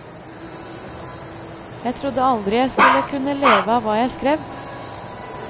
Jeg trodde aldri jeg skulle kunne leve av hva jeg skrev.